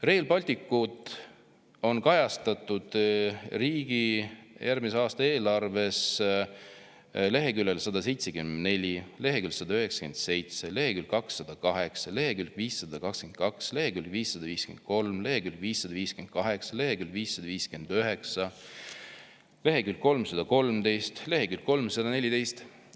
Rail Balticut on kajastatud riigi järgmise aasta eelarves leheküljel 174, leheküljel 197, leheküljel 208, leheküljel 522, leheküljel 553, leheküljel 558, leheküljel 559, leheküljel 313, leheküljel 314.